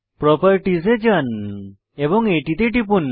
properties এ যান এবং এটিতে টিপুন